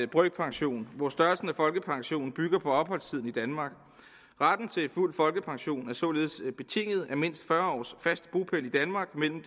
brøkpension hvor størrelsen af folkepensionen bygger på opholdstiden i danmark retten til fuld folkepension er således betinget af mindst fyrre års fast bopæl i danmark mellem